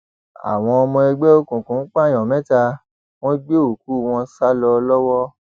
àwọn ọmọ ẹgbẹ òkùnkùn pààyàn mẹta wọn gbé òkú wọn sá lọ lọwọ